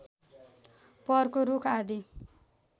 वरको रूख आदि